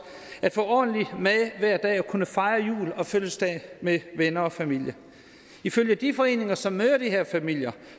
at få ordentlig mad hver dag og kunne fejre jul og fødselsdag med venner og familie ifølge de foreninger som møder de her familier